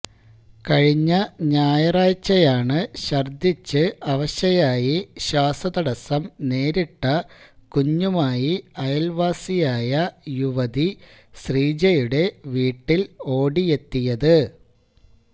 കഴിഞ്ഞ ഞായറാഴ്ചയാണ് ഛര്ദിച്ച് അവശയായി ശ്വാസതടസം നേരിട്ട കുഞ്ഞുമായി അയല്വാസിയായ യുവതി ശ്രീജയുടെ വീട്ടില് ഓടിയെത്തിയത്